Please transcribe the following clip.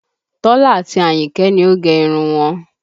Tọ́lá àti Àyìnkẹ́ ni ó gẹ irun wọn